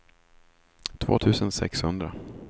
två tusen sexhundra